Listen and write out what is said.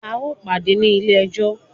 A o pàdé ní ilé ẹjọ́!